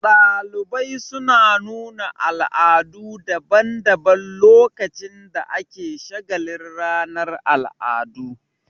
Ɗalibai suna nuna al'adu daban daban lokacin da ake shagalin ranar al'adu